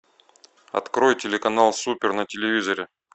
открой телеканал супер на телевизоре